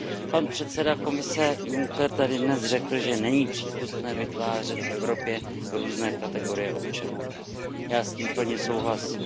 Pan předseda Komise Juncker tady dnes řekl, že není přípustné vytvářet v Evropě různé kategorie občanů. Já s tím plně souhlasím.